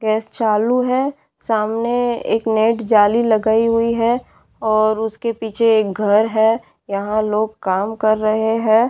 Test चालू है सामने एक नेट जाली लगायी हुई है और उसके पीछे एक घर है यहाँ लोग काम कर रहे है।